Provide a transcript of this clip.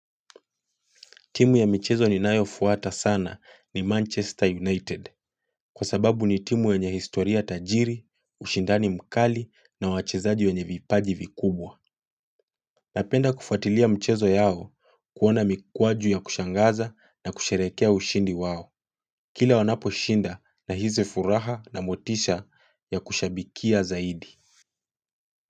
Timu ya michezo ninayofwata sana ni Manchester United kwa sababu ni timu yenye historia tajiri, ushindani mkali na wachezaji wenye vipaji vikubwa. Napenda kufatilia mchezo yao kuona mikwaju ya kushangaza na kusherekea ushindi wao. Kila wanaposhinda nahisi furaha na motisha ya kushabikia zaidi.